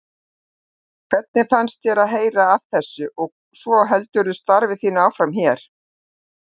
Hvernig fannst þér að heyra af þessu og svo heldurðu starfi þínu áfram hér?